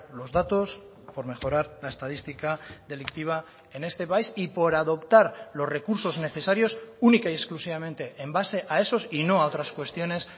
los datos por mejorar la estadística delictiva en este país y por adoptar los recursos necesarios única y exclusivamente en base a esos y no a otras cuestiones